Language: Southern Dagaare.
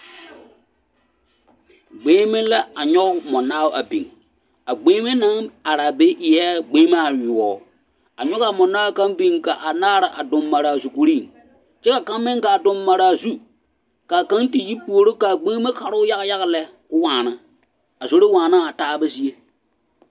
Gbeŋme la a nyoge mɔnaao a biŋ a gbeŋme naŋ araa be eɛɛ gbeŋmaa yoɔ a ngogaa mɔnaao kaŋ biŋ ka anaare a duŋ mare a zukuriŋ kyɛ ka kaŋ meŋ gaa duŋ maraa zu kaa kaŋ ti puore kaa gbeŋme karoo yaga yaga lɛ ko waana a zoro waanaa a taaba zie.